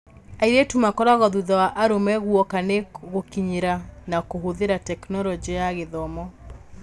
Airĩtu makoragwo thutha wa arũme gwoka nĩ gũkinyĩra na kũhũthĩra Tekinoronjĩ ya Gĩthomo.